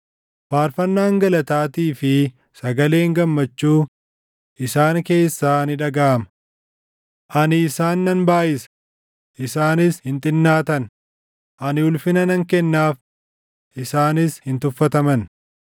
Faarfannaan galataatii fi sagaleen gammachuu isaan keessaa ni dhagaʼama. Ani isaan nan baayʼisa; isaaniis hin xinnaatan; ani ulfina nan kennaaf; isaanis hin tuffataman.